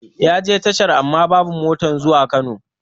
Yaje tashar amma babu motar zuwa Kano